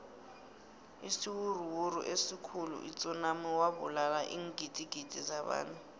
isiwuruwuru esikhuli itsunami wabulala iingdigidi zabantu